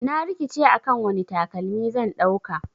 Na rikice akan wani takalmi zan dauka.